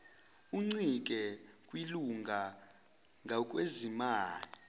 uncike kwilunga ngakwezezimali